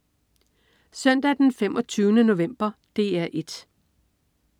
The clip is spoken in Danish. Søndag den 25. november - DR 1: